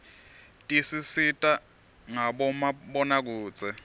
tisisita ngabomabonakudze